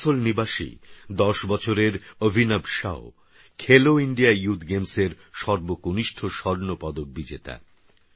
আসানসোলনিবাসী১০বছরেরঅভিনবশাkhelo India youthগেমসএরসর্বকনিষ্ঠস্বর্ণপদকবিজেতা